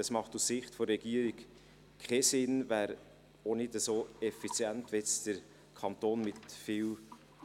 Es macht aus Sicht der Regierung keinen Sinn, es wäre auch nicht so effizient, wenn jetzt der Kanton mit viel